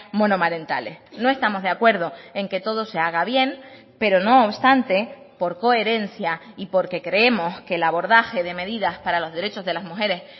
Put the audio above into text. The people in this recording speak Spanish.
monomarentales no estamos de acuerdo en que todo se haga bien pero no obstante por coherencia y porque creemos que el abordaje de medidas para los derechos de las mujeres